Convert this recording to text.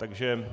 Takže